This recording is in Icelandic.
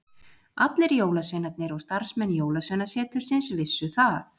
Allir jólasveinarnir og starfsmenn jólasveinasetursins vissu það.